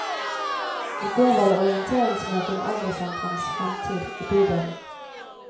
I går var det orienteringsmøte om eldresentrenes fremtid i bydelen.